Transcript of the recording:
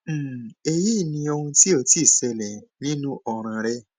um eyi ni ohun ti o ti ṣẹlẹ ninu ọran rẹ